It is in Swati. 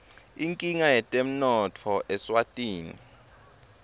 inkinga yetemnotfo eswatini